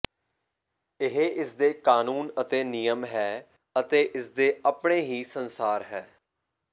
ਇਹ ਇਸ ਦੇ ਕਾਨੂੰਨ ਅਤੇ ਨਿਯਮ ਹੈ ਅਤੇ ਇਸ ਦੇ ਆਪਣੇ ਹੀ ਸੰਸਾਰ ਹੈ